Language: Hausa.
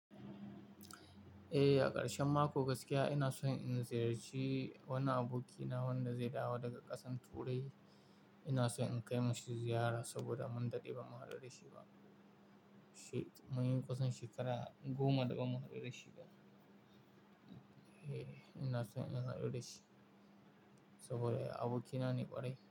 Eh, a karshen mako gaskiya ina so in ziyarci wani abokina wanda zai dawo daga ƙasan turai. Ina so in kai mashi ziyara saboda mun daɗe ba mu haɗu da shi ba. Munyi kusan shekara goma da ba mu haɗu da shi ba. Eh, ina so in haɗu da shi saboda abokina ne kwarai.